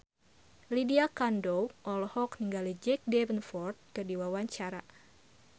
Lydia Kandou olohok ningali Jack Davenport keur diwawancara